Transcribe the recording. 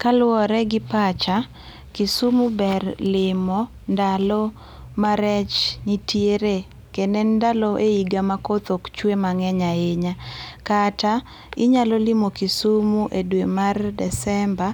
Kaluore gi pacha, Kisumu ber limo ndalo ma rech nitiere kendo en ndalo e higa ma koth ok chwe mangeny ahinya, kata inyalo limo Kisumu e dwe mar Disemba